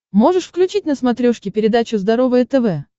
можешь включить на смотрешке передачу здоровое тв